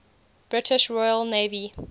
british royal navy